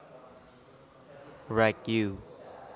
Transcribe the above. Wright u